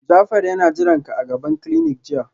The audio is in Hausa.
Jafar yana jiranka a gaban clinic jiya